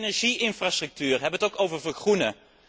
Inzake energie infrastructuur hebben we het ook over vergroenen.